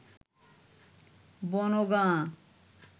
Bongaon